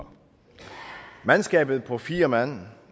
mandskabet på fire mand